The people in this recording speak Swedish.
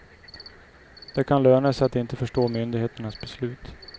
Det kan löna sig att inte förstå myndigheternas beslut.